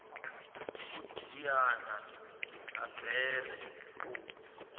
u diana ha bere u